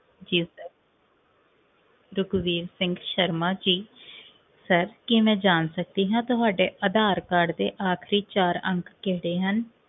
ਜੀ sir ਰਘੁਵੀਰ Singh Sharma ji sir ਕੀ ਮੈ ਜਾਣ ਸਕਦੀ ਹਾਂ ਕਿ ਤੁਹਾਡੇ ਅਧਾਰ ਕਾਰਡ ਦੇ ਆਖਰੀ ਚਾਰ ਅੰਕ ਕਿਹੜੇ ਹਨ?